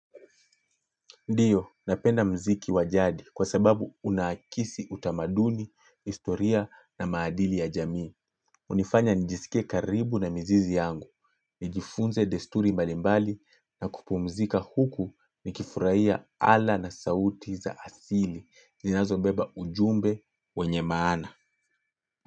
Ndio, napenda mziki wa jadi kwa sababu unakisi utamaduni, historia na maadili ya jamii. Unifanya nijisikie karibu na mizizi yangu. Nijifunze desturi mbalimbali na kupumzika huku nikifurahia ala na sauti za asili. Zinazo beba ujumbe wenye maana.